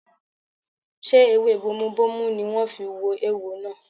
Ṣé ewé bomubómú ni wọ́n fi wo eéwo náà?